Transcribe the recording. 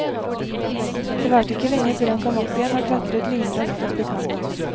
Det varte ikke lenge før han kom opp igjen og klatret lynraskt opp i kanoen.